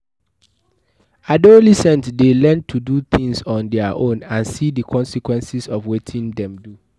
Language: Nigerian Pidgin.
Adolescent de learn to do things on their own and see the consequence of wetin them do